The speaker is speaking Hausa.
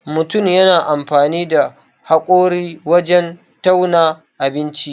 Mutun na amfani da haƙori wajen tauna abinci.